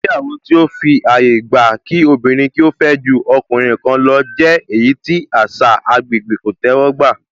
Ìgbéyàwó tó fi àyè gba kí obìnrin fẹ́ ju ọkùnrin kan lọ jẹ́ èyí tí àṣà agbègbè kò tẹ́wọ́ gbà